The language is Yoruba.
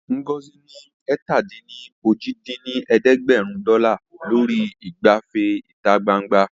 Ngozi ná ẹ̀ta-dín-ní-ojì dín ní ẹ̀ẹ́dẹ́gbẹ́rún dọ́là lórí ìgbafẹ́ ìta gbangba